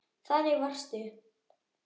Þannig varstu.